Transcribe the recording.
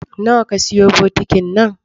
Na wa ka siyo bokitin nan?